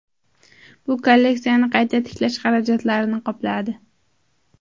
Bu kolleksiyani qayta tiklash xarajatlarini qopladi.